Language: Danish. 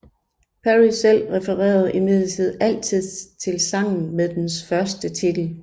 Parry selv refererede imidlertid altid til sangen med dens første titel